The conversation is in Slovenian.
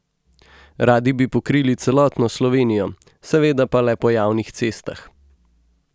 Radi bi pokrili celotno Slovenijo, seveda pa le po javnih cestah.